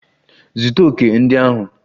Zụta òkè ndị ahụ!